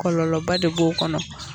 Kɔlɔlɔba de b'o kɔnɔ